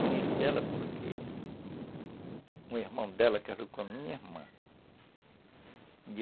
Conheci ela porque o irmão dela casou com a minha irmã.